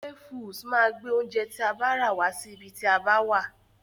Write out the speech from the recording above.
Hey foods máa gbé oúnjẹ tí a bá rà wá sí ibi tí a bá wà.